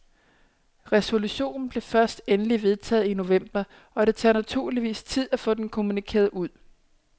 Resolutionen blev først endeligt vedtaget i november og det tager naturligvis tid at få den kommunikeret ud.